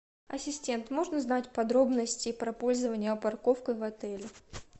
ассистент можно узнать подробности про пользование парковкой в отеле